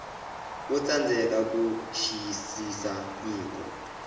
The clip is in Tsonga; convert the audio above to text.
wo tsandzeka ku xiyisisa nyiko